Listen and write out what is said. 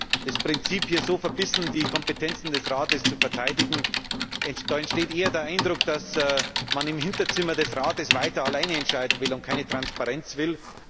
Bei dem Prinzip, hier so verbissen die Kompetenzen des Rates zu verteidigen, entsteht eher der Eindruck, dass man im Hinterzimmer des Rates weiter alleine entscheiden will und keine Transparenz will.